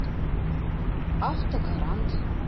автогарант